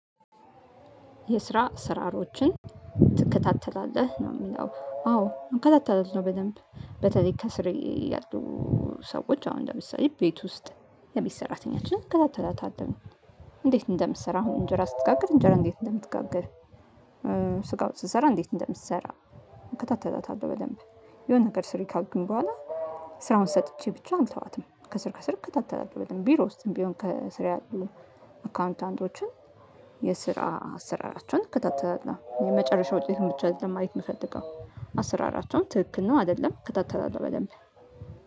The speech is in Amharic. የስራ አሰራሮችን ትከታተላለህ ነው የሚለው አዎ እከታተላለው በደንብ በተለይ ከስሬ ያሉ ሰዎች አሁን ለምሳሌ ቤት ውስጥ የቤት ሰራተኛችን እከታተላታለሁኝ። እንዴት እንደምትሰራ አሁን እንጀራ ስትጋግል እንጀራ እንዴት እንደምትጋግር። ስጋ ወጥ ስትሰራ እንዴት እንደምትሰራ እከታተላታለሁ። በደንብ የሆነ ነገር ስሪ ካልኩኝ በኋላ ስራውን ሰጥቼ ብቻ አልተዋትም። ከስር ከስር ከታተላለው በደንብ ቢሮ ውስጥም ቢሆን ከስር ያሉ አካውንታንቶችን የስራ አሰራራቸውን እከታተላለሁ። የመጨረሻው ውጤት ብቻ አይደለም ማየት የምፈልገው አሰራራቸውም ትክክል ነው አይደለም እከታተላለሁ በደንብ።